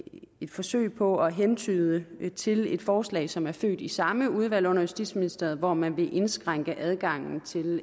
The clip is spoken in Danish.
forsøg på at hentyde til et forslag som er født i samme udvalg under justitsministeriet hvor man vil indskrænke adgangen til